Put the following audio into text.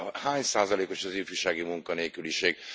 Hány százalékos az ifjúsági munkanélküliség?